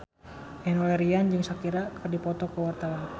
Enno Lerian jeung Shakira keur dipoto ku wartawan